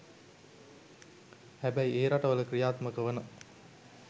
හැබැයි ඒ රටවල ක්‍රියාත්මක වන